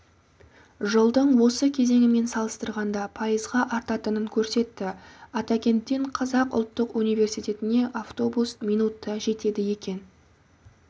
жылдың осы кезеңімен салыстырғанда пайызға артатынын көрсетті атакенттен қазақ ұлттық университетіне автобус минутта жетеді екен